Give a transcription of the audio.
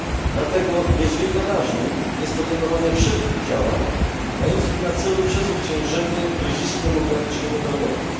Dlatego niezwykle ważnym jest podejmowanie wszelkich działań mających na celu przezwyciężenie kryzysu demograficznego w Europie.